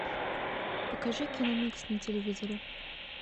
покажи киномикс на телевизоре